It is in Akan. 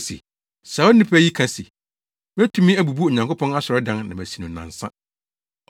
se, “Saa onipa yi kae se, ‘Metumi abubu Onyankopɔn asɔredan na masi no nnansa!’ ”